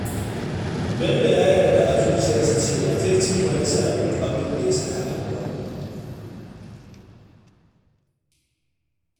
Bello ya yarda a zuciyarsa cewa zai cimma nasarar duk abin da ya saka a gaba